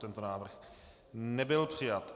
Tento návrh nebyl přijat.